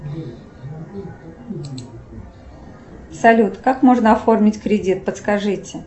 салют как можно оформить кредит подскажите